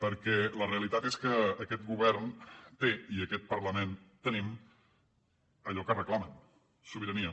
perquè la realitat és que aquest govern té i aquest parlament tenim allò que reclamen sobirania